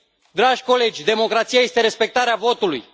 Dragi colegi, democrația este respectarea votului.